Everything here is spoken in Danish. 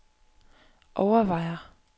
overvejer